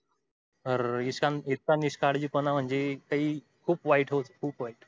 अरर इतका निष्काळजीपणा म्हणजे काई खूप वाईट खूप वाईट